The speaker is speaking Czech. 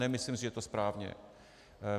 Nemyslím si, že je to správné.